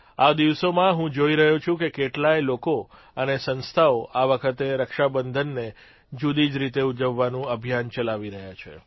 આ દિવસોમાં હું જોઇ રહ્યો છું કે કેટલાય લોકો અને સંસ્થાઓ આ વખતે રક્ષાબંધનને જૂદી જ રીતે ઉજવવાનું અભિયાન ચલાવી રહ્યા છે